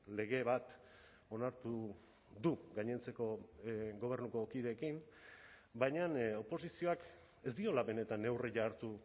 lege bat onartu du gainontzeko gobernuko kideekin baina oposizioak ez diola benetan neurria hartu